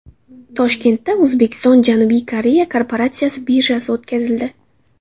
Toshkentda O‘zbekistonJanubiy Koreya kooperatsiya birjasi o‘tkazildi.